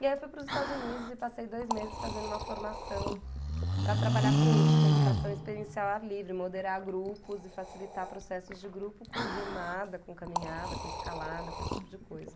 E aí eu fui para os Estados Unidos e passei dois meses fazendo uma formação para trabalhar com isso, com a educação experiencial ao ar livre, moderar grupos e facilitar processos de grupo com remada, com caminhada, com escalada, com esse tipo de coisa.